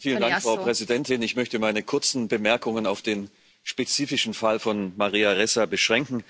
Frau Präsidentin! Ich möchte meine kurzen Bemerkungen auf den spezifischen Fall von Maria Ressa beschränken.